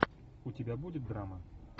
у тебя будет драма